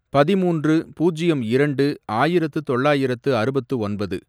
பதிமூன்று, பூஜ்யம் இரண்டு, ஆயிரத்து தொள்ளாயிரத்து அறுபத்து ஒன்பது